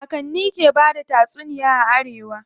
Kakanni ke bada tatsuniya a arewa.